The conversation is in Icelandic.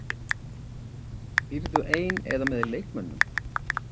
Býrðu ein eða með leikmönnum?